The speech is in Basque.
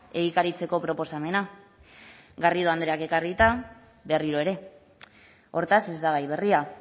egikaritzeko proposamena garrido andreak ekarrita berriro ere hortaz ez da gai berria